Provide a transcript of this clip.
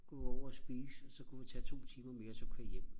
gå over og spise så kunne vi tage to timer mere og så køre hjem